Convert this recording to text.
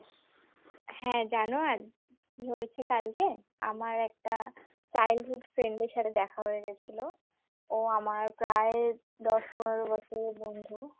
হ্যাঁ জানো কি হয়েছে কালকে আমার একটা child hood friend এর সাথে দেখা হয়ে গেছিল ও আমার প্রায় দশ-পনের বছরের বন্ধু